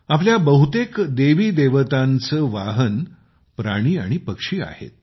आपल्या बहुतेक देवीदेवतांचे वाहन प्राणी आणि पक्षी आहेत